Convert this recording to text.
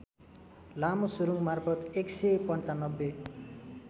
लामो सुरुङमार्फत १९५